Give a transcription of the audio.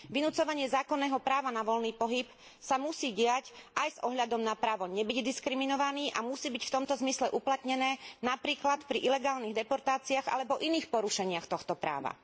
Vynucovanie zákonného práva na voľný pohyb sa musí diať aj s ohľadom na právo nebyť diskriminovaný a musí byť v tomto zmysle uplatnené, napríklad pri ilegálnych deportáciách alebo iných porušeniach tohto práva.